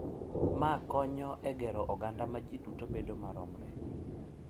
Mae konyo e gero oganda ma ji duto bedo maromre.